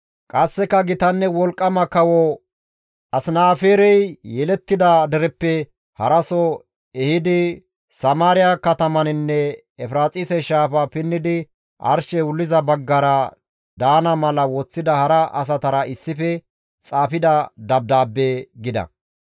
qasseka gitanne wolqqama kawo Asinaaferey yelettida dereppe haraso ehidi Samaariya katamaninne Efiraaxise shaafa pinnidi arshey wulliza baggara daana mala woththida hara asatara issife xaafida dabdaabbe» gida.